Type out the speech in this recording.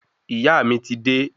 Ìyá mí ti de